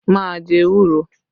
Má a jẹ ewúro!